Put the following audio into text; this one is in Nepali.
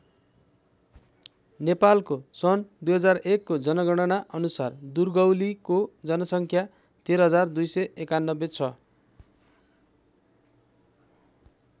नेपालको सन् २००१ को जनगणना अनुसार दुर्गौलीको जनसङ्ख्या १३२९१ छ।